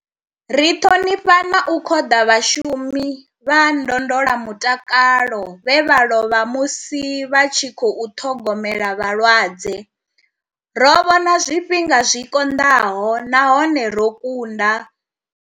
Ri ṱhonifha na u khoḓa vhashu mi vha ndondola mutakalo vhe vha lovha musi vha tshi khou ṱhogomela vhalwadze. Ro vhona zwifhinga zwi konḓaho nahone ro kunda.